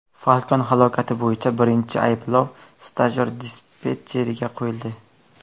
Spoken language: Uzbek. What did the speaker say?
Falcon halokati bo‘yicha birinchi ayblov stajyor dispetcherga qo‘yildi.